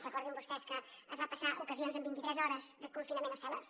recordin vostès que es van passar en ocasions vint i tres hores de confinament a cel·les